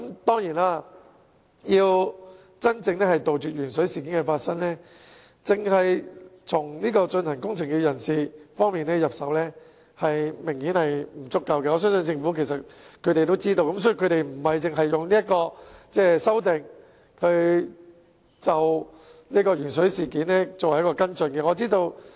當然，如要真正杜絕鉛水事件，只從進行工程人士方面入手明顯是不足夠的，我相信政府也清楚這點，所以政府亦並非單以這次修訂作為鉛水事件的跟進。